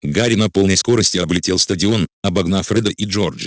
гарри на полной скорости облетел стадион обогнав фреда и джорджа